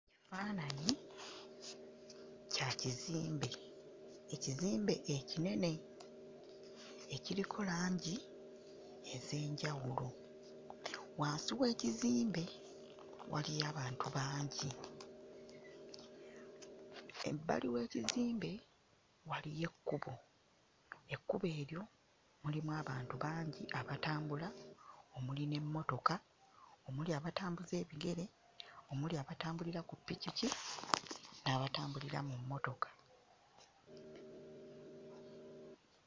Ekifaananyi kya kizimbe. Ekizimbe ekinene ekiriko langi ez'enjawulo. Wansi w'ekizimbe waliyo abantu bangi. Ebbali w'ekizimbe waliyo ekkubo. Ekkubo eryo mulimu abantu bangi abatambula, omuli n'emmotoka, omuli abatambuza ebigere, omuli abatambulira ku ppikipiki, n'abatambulira mu mmotoka.